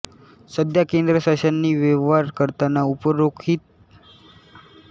सध्या केंद्र शासनाशी व्यवहार करताना उपरोल्लेखित दोन भाषांपैकी एका भाषेचा वापर करण्यात येतो